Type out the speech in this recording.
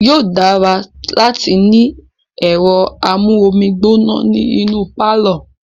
Yóò dára láti ní ẹ̀rọ amú omi gbóná ní inú pálọ̀.